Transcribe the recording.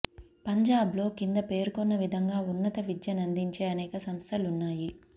పంజాబ్ లో క్రింద పేర్కొన్న విధంగా ఉన్నత విద్యనందించే అనేక సంస్థలున్నాయి